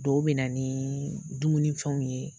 Dɔw bɛ na ni dumuni fɛnw ye.